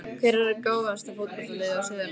Hvert er gáfaðasta fótboltaliðið á Suðurlandi?